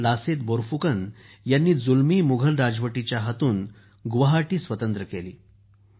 वीर लसीत बोरफुकन ह्यांनी जुलमी मुघल राजवटीच्या हातून सोडवून गुवाहाटी स्वतंत्र केली